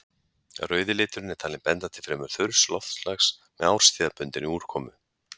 Rauði liturinn er talinn benda til fremur þurrs loftslags með árstíðabundinni úrkomu.